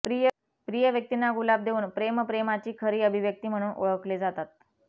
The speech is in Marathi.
प्रिय व्यक्तींना गुलाब देऊन प्रेमप्रेमाची खरी अभिव्यक्ती म्हणून ओळखले जातात